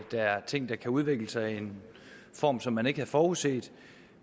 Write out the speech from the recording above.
er ting der kan udvikle sig i en form som man ikke havde forudset